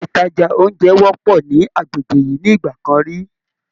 Ilé ìtajà oúnjẹ wọ́pọ̀ ní agbègbè yìí nígbà kan rí